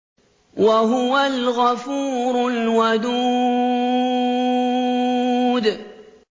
وَهُوَ الْغَفُورُ الْوَدُودُ